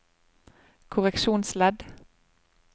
korreksjonsledd